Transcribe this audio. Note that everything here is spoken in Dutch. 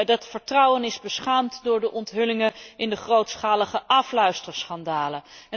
Dat vertrouwen is beschaamd door de onthullingen in de grootschalige afluisterschandalen.